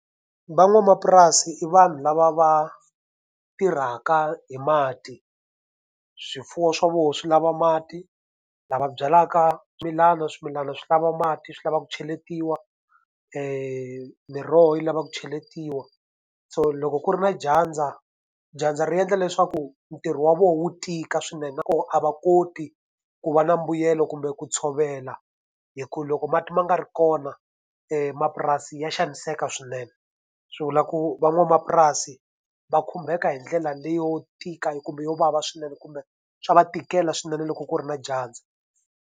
Van'wamapurasi i vanhu lava va tirhaka hi mati, swifuwo swa vona swi lava mati. Lava byalaka swimilana, swimilana swi lava mati swi lavaka ku cheletiwa miroho yi lava ku cheletiwa. So loko ku ri na dyandza, dyandza ri endla leswaku ntirho wa vona wu tika swinene na koho a va koti ku va na mbuyelo kumbe ku tshovela hi ku loko mati ma nga ri kona mapurasi ya xaniseka swinene. Swi vula ku van'wamapurasi va khumbeka hi ndlela leyo tika kumbe yo vava swinene kumbe swa va tikela swinene loko ku ri na dyandza.